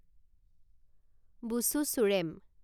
বুচু চুৰেম